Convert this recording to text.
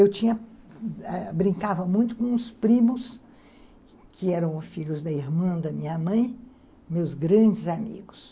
Eu tinha, brincava muito com os primos, que eram filhos da irmã da minha mãe, meus grandes amigos.